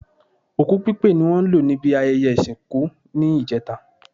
Òkú pípé ni wọ́n lò níbi ayẹyẹ ìsìnkú ní ìjẹta